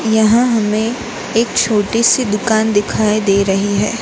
यहां हमें एक छोटी सी दुकान दिखाई दे रही है।